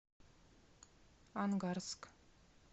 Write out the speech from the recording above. ангарск